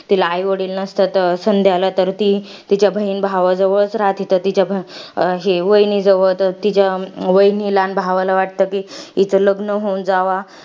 तिला आईवडील नसतात. संध्याला. तर ती तिच्या बहिण भावाजवळच राहते. तर ती, वाहिनी जवळ. तर तिच्या वहिनीला आणि भावाला वाटतं कि, हिचं लग्न होऊन जावा.